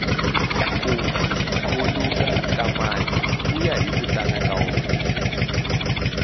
ku khuluka ka mati kuya hiku tala ka wona